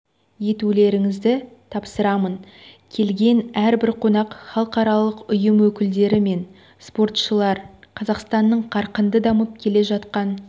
етулеріңізді тапсырамын келген әрбір қонақ халықаралық ұйым өкілдері мен спортшылар қазақстанның қарқынды дамып келе жатқан